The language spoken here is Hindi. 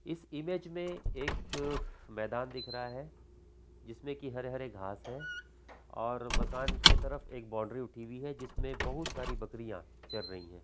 इस इमेज में एक मैदान दिख रहा है जिसमें की हरे-हरे घांस है और मकान की तरफ बॉउंड्री उठी हुई है जिसमें बहुत सारी बकरियाँ चर रही है।